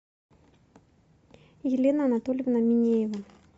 елена анатольевна минеева